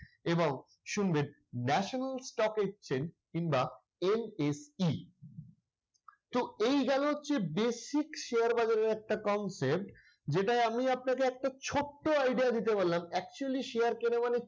এবং শুনবেন national stock exchange কিংবা NSE তো এই গেল হচ্ছে basic share বাজারের একটা concept যেটাই আপনি আপনাকে একটা ছোট্ট idea দিতে পারলাম। actually share কেনা মানে